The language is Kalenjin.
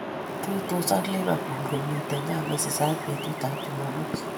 Tuitos ak Liverpool komite ga Merseyside betutab Jumamos.